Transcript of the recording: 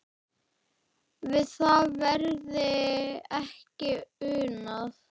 Við það verði ekki unað.